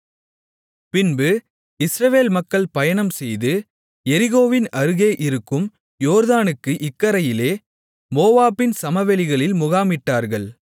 பின்பு இஸ்ரவேல் மக்கள் பயணம்செய்து எரிகோவின் அருகே இருக்கும் யோர்தானுக்கு இக்கரையிலே மோவாபின் சமவெளிகளில் முகாமிட்டார்கள்